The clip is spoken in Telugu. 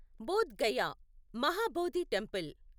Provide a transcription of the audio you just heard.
బోధ్ గయా మహాబోధి టెంపుల్